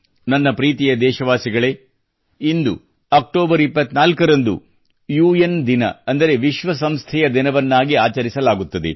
ನನ್ನ ಪ್ರೀತಿಯ ದೇಶವಾಸಿಗಳೇ ಇಂದು ಅಕ್ಟೋಬರ್ 24 ರಂದು ಯುಎನ್ ದಿನ ಅಂದರೆ ವಿಶ್ವಸಂಸ್ಥೆಯ ದಿನವನ್ನಾಗಿ ಆಚರಿಸಲಾಗುತ್ತದೆ